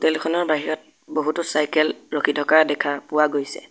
হোটেলখনৰ বাহিৰত বহুতো চাইকেল ৰখি থকা দেখা পোৱা গৈছে।